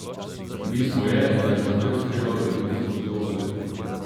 Bistvo je, da je štafeto treba graditi skozi dolga leta.